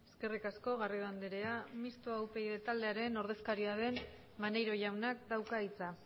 eskerrik asko garrido andrea mixto upyd taldearen ordezkaria den maneiro jaunak dauka hitza